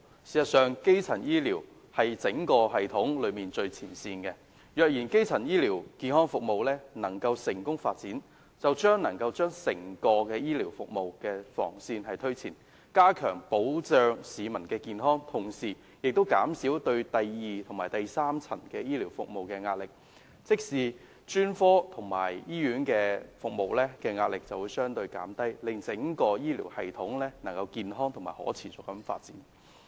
事實上，基層醫療是整個系統的最前線，若基層醫療健康服務能夠成功發展，將能夠推前整個醫療服務的防線，加強保障市民健康，同時亦可以減少第二及第三層醫療服務的壓力，即專科及醫院服務的壓力會相對減低，令整個醫療系統能夠健康及可持續的發展。